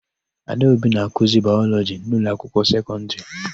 Adaobi na-akụzi Baịlọjị n'ụlọakwụkwọ sekọndịrị.